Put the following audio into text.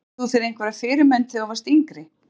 Áttir þú þér einhverja fyrirmynd þegar þú varst yngri?